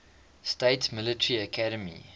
states military academy